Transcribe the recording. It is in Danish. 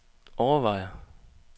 overvejer